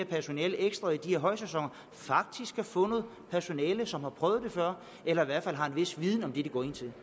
personale i højsæsoner kan få noget personale som har prøvet det før eller i hvert fald har en vis viden om det de går ind til